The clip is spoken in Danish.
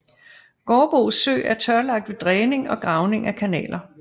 Gårdbo Sø er tørlagt ved dræning og gravning af kanaler